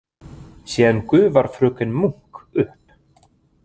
Síðan gufar fröken Munk upp.